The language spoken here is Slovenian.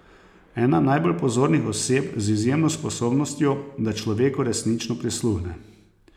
Ena najbolj pozornih oseb z izjemno sposobnostjo, da človeku resnično prisluhne.